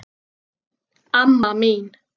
Amma mín